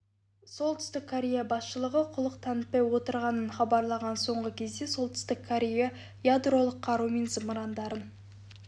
солтүстік корея басшылығы құлық танытпай отырғанын хабарлаған соңғы кезде солтүстік корея ядролық қару мен зымырандарын